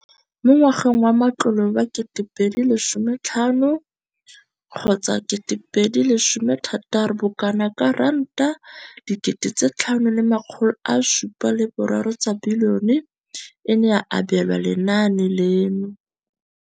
Mo ngwageng wa matlole wa 2015,16, bokanaka R5 703 bilione e ne ya abelwa lenaane leno.